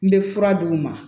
N bɛ fura d'u ma